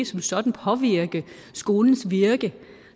som sådan påvirke skolens virke